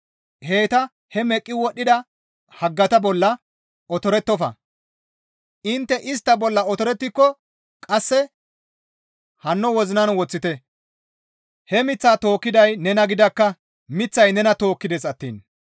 heyta he meqqi wodhdhida haggata bolla otorettofa; intte istta bolla otorettiko qasse hanno wozinan woththite; he miththaa tookkiday nena gidakka; miththay nena tookkides attiin.